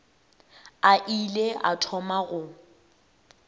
a ile a thoma go